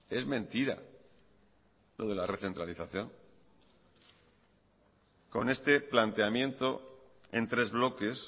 es mentira lo de la recentralización con este planteamiento en tres bloques